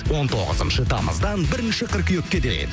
он тоғызыншы тамыздан бірінші қыркүйекке дейін